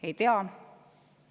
Ei tea.